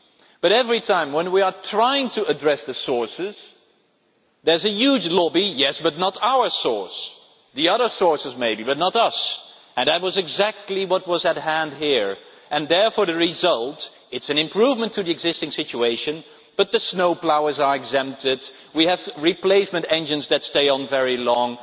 But every time we try to address the sources, there is a huge lobby saying yes, but not our source, the other sources maybe, but not us', and that was exactly what was at hand here and therefore the result is an improvement to the existing situation, but the snowploughs are exempted, we have replacement engines that stay on very long,